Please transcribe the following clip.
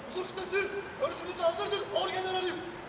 Susturun, özünüzü hazır tutun, orgenralım!